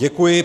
Děkuji.